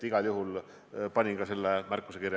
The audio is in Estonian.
Igal juhul panin ka selle märkuse kirja.